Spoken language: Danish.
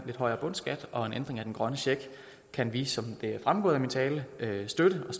lidt højere bundskat og en ændring af den grønne check kan vi som det er fremgået af min tale støtte og